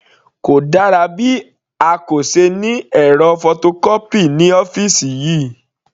Kò dára bí a kò se ní ẹ̀rọ photocopy ní ọ́fìsì yìí.